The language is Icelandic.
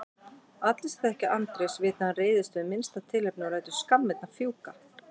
Allir sem þekkja Andrés vita að hann reiðist við minnsta tilefni og lætur skammirnar fjúka.